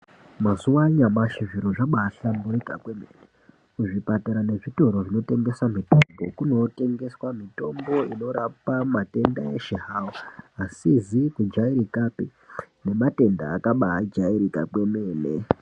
Mazuwa anyamashi zviro zvabahlamburika kwemene kuzvipatara nezvitoro zvinotengesa mitombo kunorapwa matenda asizi kujairikapi nematenda akabajairika kwemene.